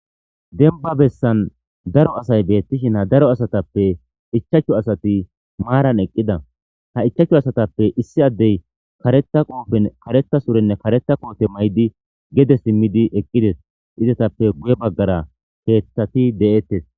Dembbba bessan daro asay beettishin ha daro asatappe ichchachu asati maaran eqqida. Ha ichchachu asatappe issi addey kareththa surenne kareththa koote mayidi gede simmidi eqqides. Izetappe guye baggara keeththati de'etes.